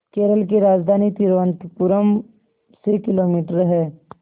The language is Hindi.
केरल की राजधानी तिरुवनंतपुरम से किलोमीटर है